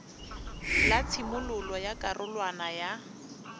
la tshimololo ya karolwana ya